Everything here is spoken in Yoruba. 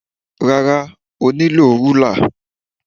Rárá, o nílò rúlà.